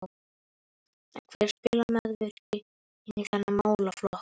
En hvernig spilar meðvirkni inn í þennan málaflokk?